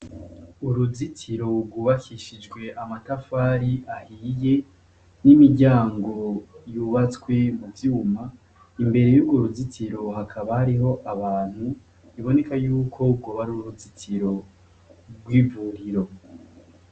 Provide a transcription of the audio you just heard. Uruzitiro gwubakishwe amatafari ahiye, n'imiryango yubatswe mu vyuma, imbere yurwo ruzitiro hakaba hariho abantu, biboneko gwoba ar'uruzitiro gw'ivuriro.